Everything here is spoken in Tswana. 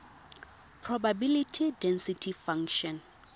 probability density function